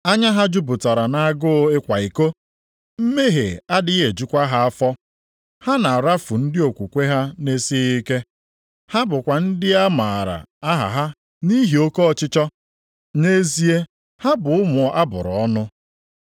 Anya ha jupụtara nʼagụụ ịkwa iko, mmehie adịghị ejukwa ha afọ. Ha na-arafu ndị okwukwe ha na-esighị ike. Ha bụkwa ndị a maara aha ha nʼihi oke ọchịchọ. Nʼezie ha bụ ụmụ a bụrụ ọnụ.